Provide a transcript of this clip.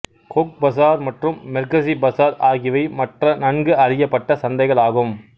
Coke பசார் மற்றும் மெர்கசி பசார் ஆகியவை மற்ற நன்கு அறியப்பட்ட சந்தைகள் ஆகும்